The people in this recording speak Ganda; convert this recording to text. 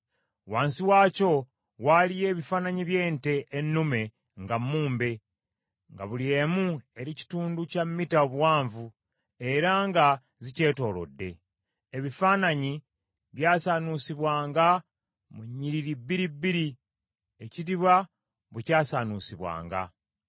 Wansi waakyo waaliyo ebifaananyi by’ente ennume nga mumbe, nga buli emu eri kitundu kya mita obuwanvu, era nga zikyetoolodde. Ebifaananyi byasaanuusibwanga mu nnyiriri bbiri bbiri, ekidiba bwe kyasaanuusibwanga.